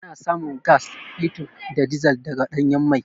Ana samun gas, fetur da dizil daga ɗanyen mai.